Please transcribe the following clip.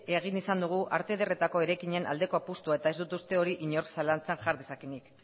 egin izan dugu arte ederretako eraikinen aldeko apustua eta ez dut uste hori inor zalantzan jar dezakeenik